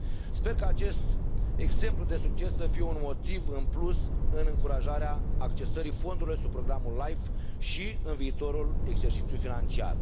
Sper că acest exemplu de succes să fie un motiv în plus în încurajarea accesării fondurilor prin programul LIFE și în viitorul exercițiu financiar.